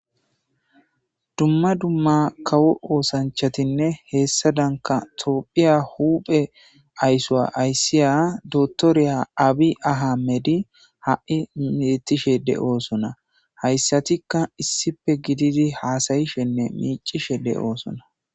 Duma duma kawo osanchatinne hesadanka tophiya huphe ayiso ayisiya dokteriya abiyi ahimede ha,I betishe de, osona hayisatika issippe gididi hasayishenne mici,she de, osona